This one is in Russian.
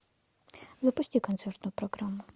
запусти концертную программу